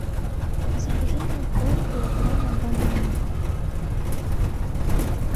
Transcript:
закажи мне пол килограмма бананов